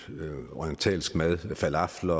orientalsk mad falafel